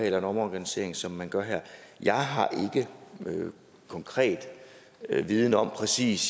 en omorganisering som man gør her jeg har ikke nogen konkret viden om præcis